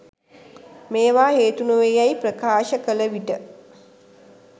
මේවා හේතු නොවේ යැයි ප්‍රකාශ කළ විට